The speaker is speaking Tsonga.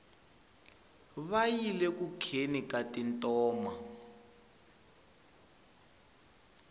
va yile ku kheni ka tintoma